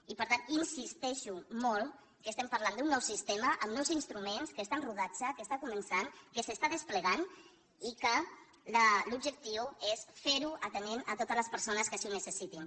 i per tant insisteixo molt que estem parlant d’un nou sistema amb nous instruments que està en rodatge que està començant que s’està desplegant i que l’objectiu és fer ho atenent totes les persones que així ho necessitin